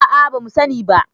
a a. ba mu sani ba